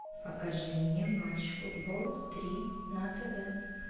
покажи мне матч футбол три на тв